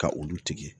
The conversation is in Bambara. Ka olu tigɛ